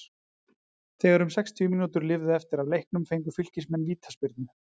Þegar um sex mínútur lifðu eftir af leiknum fengu Fylkismenn vítaspyrnu.